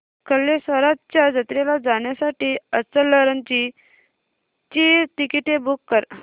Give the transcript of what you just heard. कल्लेश्वराच्या जत्रेला जाण्यासाठी इचलकरंजी ची तिकिटे बुक कर